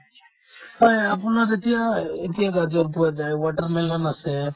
হয় হয় আপোনাৰ যেতিয়া এ ~ এ ~ এতিয়া গাজৰ পোৱা যায় watermelon আছে